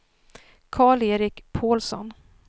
Karl-Erik Pålsson